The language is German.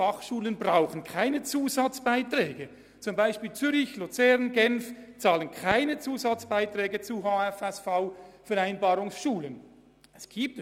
Diese Kantone bezahlen keinen Zusatzbeitrag für Schulen, die gemäss der interkantonalen Vereinbarung über Beiträge an die Bildungsgänge der höheren Fachschulen (HFSV) finanziert werden.